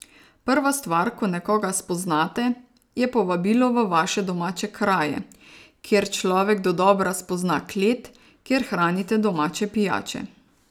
Prva stvar, ko nekoga spoznate, je povabilo v vaše domače kraje, kjer človek dodobra spozna klet, kjer hranite domače pijače.